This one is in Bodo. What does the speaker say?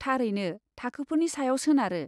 थारैनो थाखोफोरनि सायाव सोनारो।